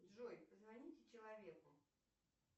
джой позвоните человеку